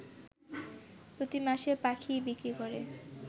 প্রতিমাসে পাখি বিক্রি করে